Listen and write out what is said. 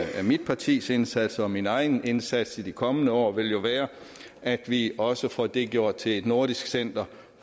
mit partis indsatser og min egen indsats i de kommende år vil jo være at vi også får det gjort til et nordisk center